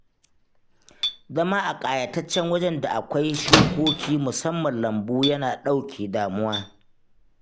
Zama a ƙayataccen wajen da akwai shukoki musamman lambu yana ɗauke damuwa